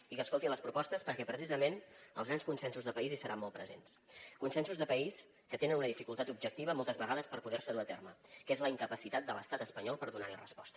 i que escolti les propostes perquè precisament els grans consensos de país hi seran molt presents consensos de país que tenen una dificultat objectiva moltes vegades per poder se dur a terme que és la incapacitat de l’estat espanyol per donar hi resposta